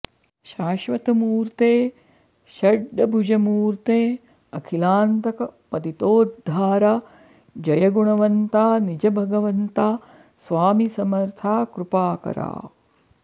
शाश्वतमूर्ते षड्भुजमूर्ते अखिलांतक पतितोद्धारा जय गुणवंता निज भगवंता स्वामी समर्था कृपाकरा